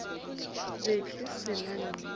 be ke se na nnete